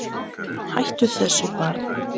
Hættu þessu barn!